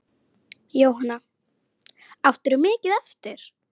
Jóhanna: Áttirðu mikið eftir?